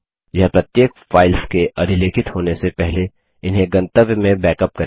यह प्रत्येक फाइल्स के अधिलेखित होने से पहले इन्हें गंतव्य में बैकअप करेगा